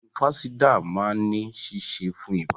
Ògùn Fansidar maa ni ṣiṣe fún iba.